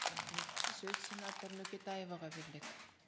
рахмет сөз сенатор нөкетаеваға беріледі